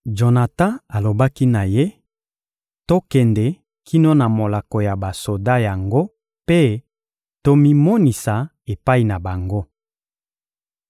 Jonatan alobaki na ye: — Tokende kino na molako ya basoda yango mpe tomimonisa epai na bango.